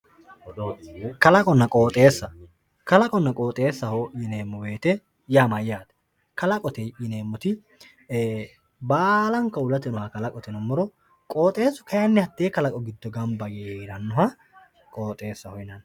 kalaqonna qooxeessa kalaqonna qooxeessaho yineemmo wote yaa mayyate kalaqote yineemmoti baalanka uullate aana heerannoha kalaqoho yinummoro qooxeessu kayiinni hattee kalaqo giddo gamba yee heerannoha qooxeessaho yinanni.